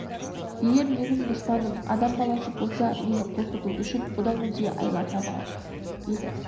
егер менің дұшпаным адам баласы болса мені қорқыту үшін бұдан өзге айла табар еді